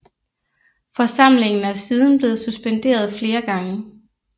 Forsamlingen er siden blevet suspenderet flere gange